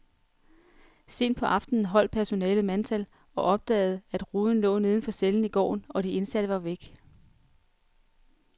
Sent på aftenen holdt personalet mandtal og opdagede, at ruden lå neden for cellen i gården, og de indsatte var væk.